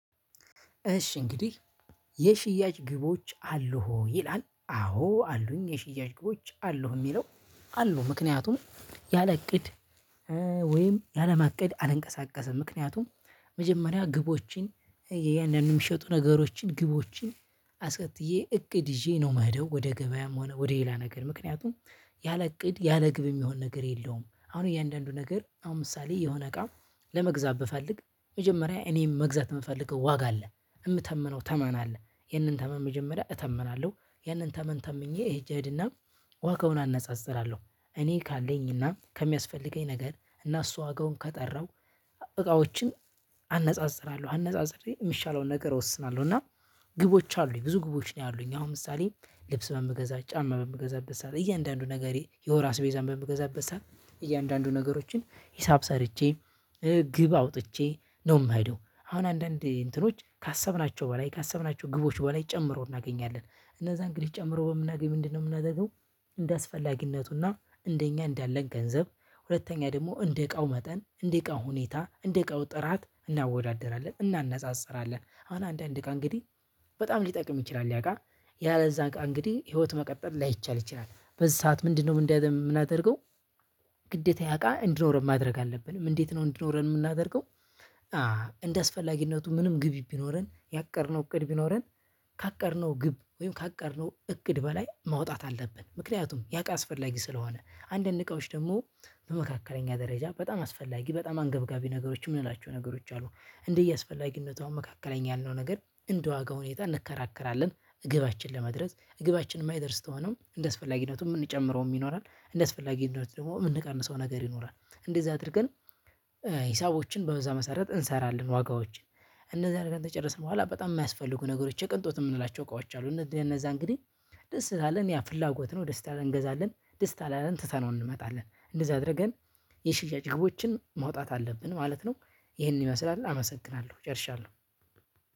እሺ እንግዲህ የሽያጭ ግቦች አሉ ይላል። አዎ አሉኝ የሽያጭ ግቦች አሉህ የሚለው አሉ። ምክንያቱም ያለ እቅድ ወይም ያለ ማቀድ አልንቀሳቀስም። ምክንያቱም መጀመሪያ ግቦችን እያንዳንዱን የሚሸጡ ነገሮችን ግቦችን አስቀጥዬ እቅድ ይዤ ነው ምሄደው ወደ ገበያም ሆነ ወደ ሌላ ነገር። ምክንያቱም ያለ እቅድ ያለ ግብ የሚሆን ነገር የለውም። አሁን እያንዳንዱ ነገር አሁን ምሳሌ የሆነ እቃ ለመግዛት ብፈልግ መጀመሪያ እኔም መግዛት የምፈልገው ዋጋ አለ፣ የምተምነው ተማን አለ። ይህንን ተማን መጀመሪያ እተመናለሁ። ይህንን ተማን ተምኜ ሄጄ እሄድና ዋጋውን እነፃፅርለሁ። እኔ ካለኝ እና ከሚያስፈልገኝ ነገር እና እሱ ዋጋውን ከጠረሁ እቃዎችን አነጻጽራለሁ አነጻጽሬ የሚሻለውን ነገር እወስናለሁ እና ግቦች አሉኝ። ብዙ ግቦች ነው ያሉኝ። አሁን ምሳሌ ልብስ በምገዛ፣ ጫማ በምገዛበት ሰዓት እያንዳንዱ ነገሬ የወር አስቤዛን በምገዛበት ሰዓት እያንዳንዱ ነገሮችን ሂሳብ ሰርቼ ግብ አውጥቼ ነው የማይሄደው። አሁን አንዳንድ እንትኖች ካሰብናቸው በላይ ካሰብናቸው ግቦች በላይ ጨምረው እናገኛለን። እነዛ እንግዲህ ጨምረው በምናገኝ ምንድን ነው የምናደርገው እንደአስፈላጊነቱና እንደኛ እንዳለን ገንዘብ ሁለተኛ ደግሞ እንደ እቃው መጠን፣ እንደ እቃው ሁኔታ፣ እንደ እቃው ጥራት፣ እናወዳድራለን እናነጻጽራለን። አሁን አንዳንድ እቃ እንግዲህ በጣም ሊጠቅም ይችላል ያ እቃ፣ ያለ እዛ እቃ እንግዲህ ህይወት መቀጠል ላይቻል ይችላል፣ በዚህ ሰዓት ምንድነው ምን የምናደርገው ግዴታ ያ እቃ እንድኖረን ማድረግ አለብን። እንዴት ነው እንድኖረን የምናደርገው እንደአስፈላጊነቱ ምንም ግቢ ቢኖረን፣ ያቀድነው እቅድ ቢኖረን ካቀድነው ግብ ወይም ካቀድነው እቅድ በላይ ማውጣት አለብን። ምክንያቱም ያ እቃ አስፈላጊ ስለሆነ። አንድ እንቃዎች ደግሞ በመካከለኛ ደረጃ በጣም አስፈላጊ በጣም አንገብጋቢ ነገሮች የምንላቸው ነገሮች አሉ። እንዲያ አስፈላጊነቱ መካከለኛ ያለው ነገር እንደ ዋጋ ሁኔታ እንከራከራለን እግባችንን ለመድረስ፣ እግባችን የማይደርስ ተሆነውም እንደስፈላጊነቱ የምንጨምረው ይኖራል እንደስፈላጊነት ደግሞ የምንቀንሰው ነገር ይኖራል። እንደዛ አድርገን ሂሳቦችን በዛ መሰረት እንሰራለን ዋጋዎችን። እንደዚህ አድርገን ተጨረስን በኋላ በጣም የሚያስፈልጉ ነገሮች የቀንጦት የምንላቸው እቃዎች አሉ። እነዛ እነዛ እንግዲህ ደስ ካለን ያው ፍላጎት ነው ደስታ እንገዛለን፣ ደስታ ላለን ትተነው እንመጣለን። እንደዛ አድርገን የሽያጭ ግቦችን ማውጣት አለብን ማለት ነው። ይሄንን ይመስላል አመሰግናለሁ። ጨርሻለሁ።